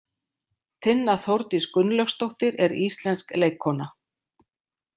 Tinna Þórdís Gunnlaugsdóttir er íslensk leikkona.